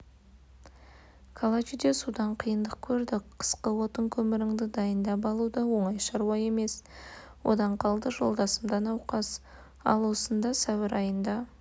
калачиде судан қиындық көрдік қысқы отын-көміріңді дайындап алу да оңай шаруа емес одан қалды жолдасым да науқас ал осында сәуір айында